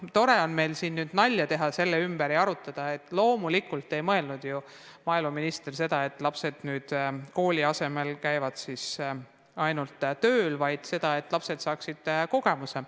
Tore on meil siin nalja teha ja seda vääratust arutada, aga loomulikult ei mõelnud maaeluminister seda, et lapsed kooli asemel käivad ainult tööl, vaid seda, et lapsed saaksid töökogemuse.